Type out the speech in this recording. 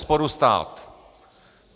Bezesporu stát.